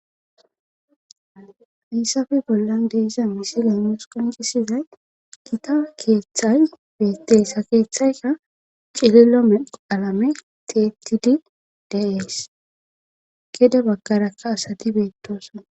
Hayssafe bollan de'iza misile nus qonccisizay gita keeththay beettes ha keeththayka cililo medho qalame tiyettidi de'ees gede baggarakka asati beettoosana.